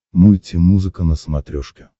мульти музыка на смотрешке